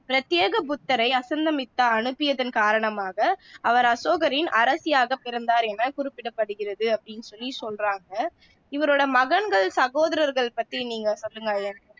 பிரத்தியேக புத்தரை அசந்தமித்தா அனுப்பியதன் காரணமாக அவர் அசோகரின் அரசியாக பிறந்தார் என குறிப்பிடப்படுகிறது அப்படின்னு சொல்லி சொல்றாங்க இவரோட மகன்கள் சகோதரர்கள் பத்தி நீங்க சொல்லுங்க ஐயன்